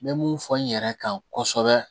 N bɛ mun fɔ n yɛrɛ kan kosɛbɛ